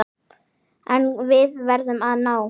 En við verðum að ná